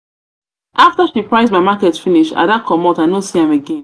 price my market finish ada comot i no see am again.